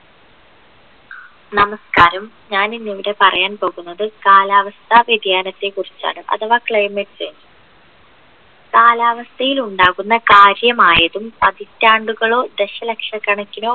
നമസ്ക്കാരം ഞാൻ ഇന്നിവിടെ പറയാൻ പോകുന്നത് കാലാവസ്ഥ വ്യതിയാനത്തെ കുറിച്ചാണ് അഥവാ climate change കാലാവസ്ഥയിൽ ഉണ്ടാകുന്ന കാര്യമായതും പതിറ്റാണ്ടുകളോ ദശലക്ഷക്കണക്കിനോ